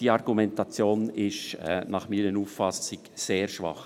Diese Argumentation ist meiner Meinung nach sehr schwach.